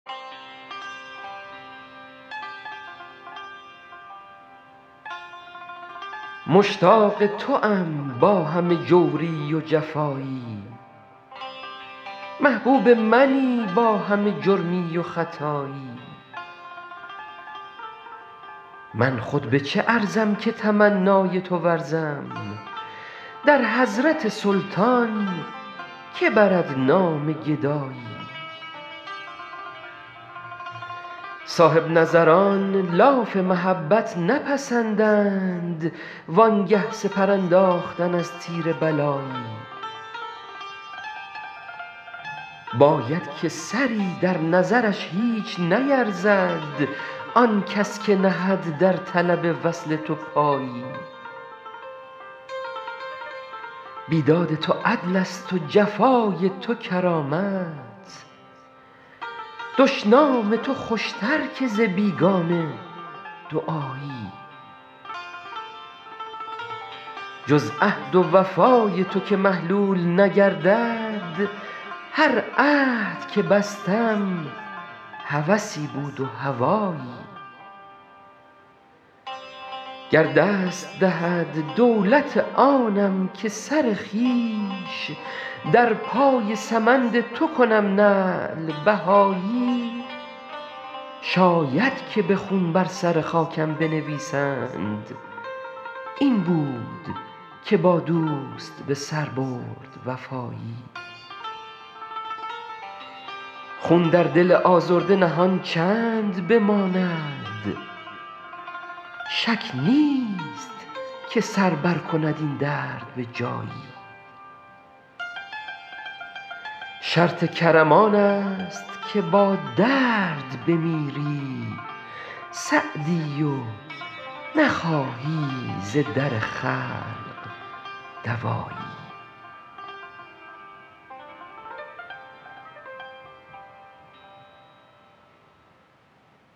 مشتاق توام با همه جوری و جفایی محبوب منی با همه جرمی و خطایی من خود به چه ارزم که تمنای تو ورزم در حضرت سلطان که برد نام گدایی صاحب نظران لاف محبت نپسندند وان گه سپر انداختن از تیر بلایی باید که سری در نظرش هیچ نیرزد آن کس که نهد در طلب وصل تو پایی بیداد تو عدلست و جفای تو کرامت دشنام تو خوشتر که ز بیگانه دعایی جز عهد و وفای تو که محلول نگردد هر عهد که بستم هوسی بود و هوایی گر دست دهد دولت آنم که سر خویش در پای سمند تو کنم نعل بهایی شاید که به خون بر سر خاکم بنویسند این بود که با دوست به سر برد وفایی خون در دل آزرده نهان چند بماند شک نیست که سر برکند این درد به جایی شرط کرم آنست که با درد بمیری سعدی و نخواهی ز در خلق دوایی